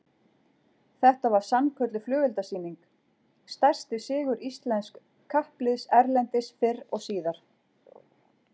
Þetta var sannkölluð flugeldasýning, stærsti sigur íslensks kappliðs erlendis fyrr og síðar